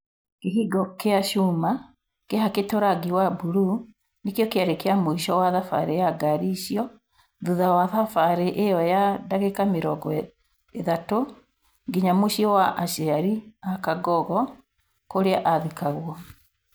Kĩhĩngo kĩa cuma kĩhakĩĩtwo rangi wa mburuu nĩkio kĩarĩ mũico wa thabarĩ ya ngari icio thutha wa thabarĩ ĩo ya ndagĩka mĩrongo ĩthatu nginya mũciĩ kwa aciari a Kangogo kũrĩa athikagwo.